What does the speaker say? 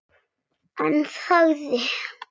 En þagði.